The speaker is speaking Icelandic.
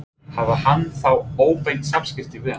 Hafði hann þá óbein samskipti við hann?